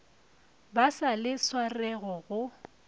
ba sa le swarego go